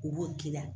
U b'o k'i la